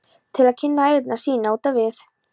til að kynna eyjarnar sínar út á við?